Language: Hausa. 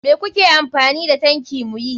Me muke amfani da tanki muyi?